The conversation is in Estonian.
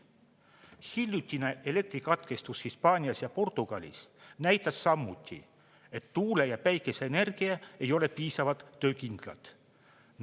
Hiljutine elektrikatkestus Hispaanias ja Portugalis näitas samuti, et tuule- ja päikeseenergia ei ole piisavalt töökindlad.